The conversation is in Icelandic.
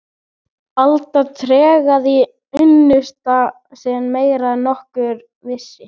Alda tregaði unnusta sinn meira en nokkur vissi.